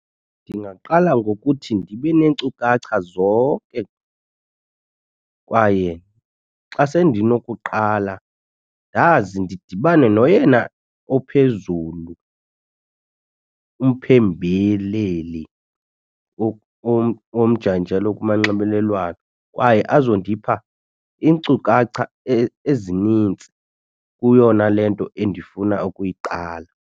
Ndingaqala ngokuthi ndibe neenkcukacha zonke kwaye xa sendinokuqala ndazi ndidibane noyena ophezulu umphembeleli womjanjalo kumanxibelelwano. Kwaye azondipha iinkcukacha ezinintsi kuyona le nto endifuna ukuyiqala.